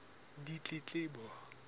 ditletlebo